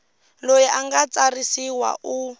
loyi a nga tsarisiwa u